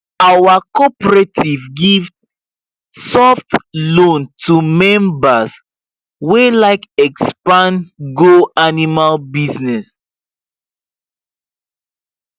our cooperative give soft loan to members wey like expand go animal business